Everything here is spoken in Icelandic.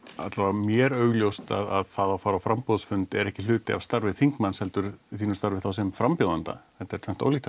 mér augljóst að það að fara á framboðsfundi er ekki hluti af starfi þingmanns heldur þínu starfi þá sem frambjóðandia þetta er tvennt ólíkt